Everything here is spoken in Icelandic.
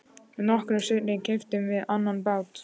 Nokkru seinna keyptum við annan bát.